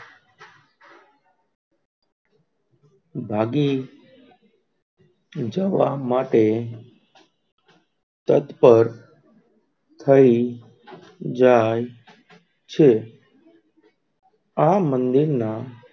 ભાગી જવા માટે તતપર થઈ જાય છે.